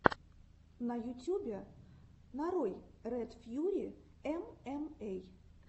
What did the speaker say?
на ютюбе нарой ред фьюри эмэмэй